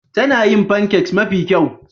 Tana yin pancakes mafi kyau.